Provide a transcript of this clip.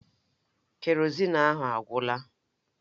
Kerozin ahụ agwụla.